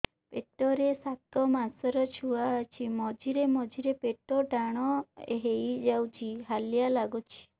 ପେଟ ରେ ସାତମାସର ଛୁଆ ଅଛି ମଝିରେ ମଝିରେ ପେଟ ଟାଣ ହେଇଯାଉଚି ହାଲିଆ ଲାଗୁଚି